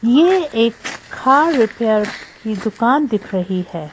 ये एक car repair की दुकान दिख रही है।